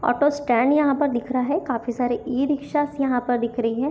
Auto stand यहाँ पर दिख रहा है काफी सारे ई रिक्शास यहां पर दिख रही है।